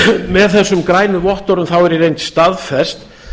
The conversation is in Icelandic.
með þessum grænu vottorðum er í reynd staðfest